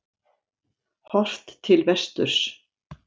Horft til vesturs.